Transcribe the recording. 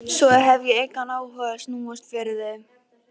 Svo hef ég engan áhuga á að snúast fyrir þig.